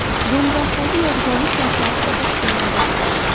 Do‘mbiroboddagi yodgorlik toshlari qayta tiklanadi .